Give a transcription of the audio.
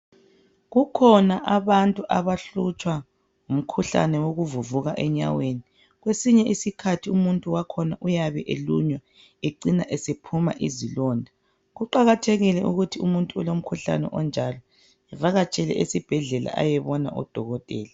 Kukhona abantu abahlutshwa ngumkhuhlane wokuvuvuka enyaweni. Kwesinye isikhathi umuntu wakhona uyabe elunywa ecina esephuma izilonda. Kuqakathekile ukuthi umuntu olomkhuhlane onjalo evakatshele esibhedlela ayebona udokotela.